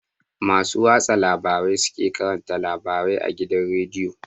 Masu watsa labarai su ke karanta labarai a gidan rediyo